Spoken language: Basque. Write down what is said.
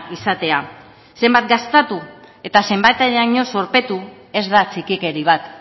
izatea zenbat gastatu eta zenbateraino zorpetu ez da txikikeri bat